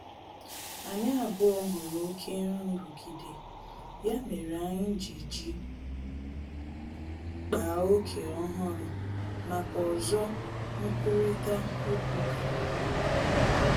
Anyị abụọ hụrụ oke nrụgide, ya mere anyị ji ji kpaa ókè ọhụrụ maka ozo nkwurịta okwu ka mma